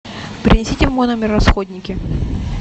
принесите в мой номер расходники